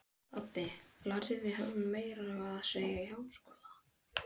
Þessi kenning var lengi umdeild en hefur reynst vera rétt.